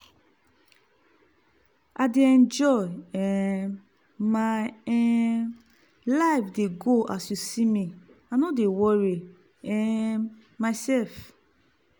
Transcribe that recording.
i dey enjoy um my um life dey go as you see me i no dey worry um myself.